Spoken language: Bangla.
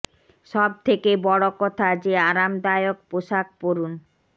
সব থেকে বড় কথা যে আরামদায়ক পোশাক পরুন